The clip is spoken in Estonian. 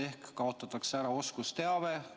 Ehk kaotatakse ära oskusteave.